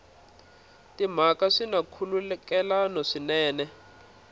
timhaka swi na nkhulukelano swinene